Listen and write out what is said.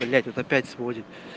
блять вот опять сводит